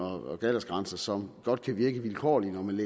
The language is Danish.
og aldersgrænser godt kan virke vilkårlige men